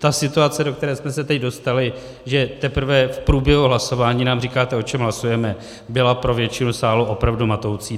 Ta situace, do které jsme se teď dostali, že teprve v průběhu hlasování nám říkáte, o čem hlasujeme, byla pro většinu sálu opravdu matoucí.